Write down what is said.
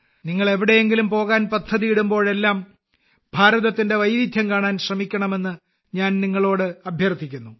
നിങ്ങൾ എവിടെയെങ്കിലും പോകാൻ പദ്ധതിയിടുമ്പോഴെല്ലാം ഭാരതത്തിന്റെ വൈവിധ്യം കാണാൻ ശ്രമിക്കണമെന്ന് ഞാൻ നിങ്ങളോട് അഭ്യർത്ഥിക്കുന്നു